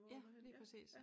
Ja lige præcis